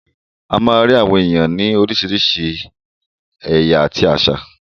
A má ń rí àwọn ènìyàn òní oríṣiríṣi ẹ̀yà àti àṣà.